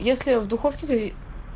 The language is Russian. если в духовке